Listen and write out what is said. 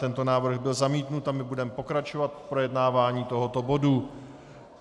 Tento návrh byl zamítnut a my budeme pokračovat v projednávání tohoto bodu.